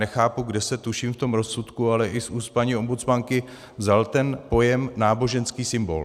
Nechápu, kde se tuším v tom rozsudku, ale i z úst paní ombudsmanky vzal ten pojem náboženský symbol.